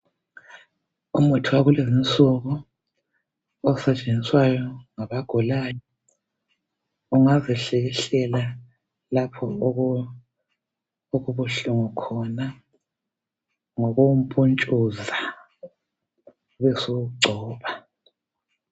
Umuthi wakulezinsuku osetshenziswayo ngabagulayo . Ungazihlikihlela lapho okubuhlungu khona ngokuwumpuntshuza ubesuwugcoba.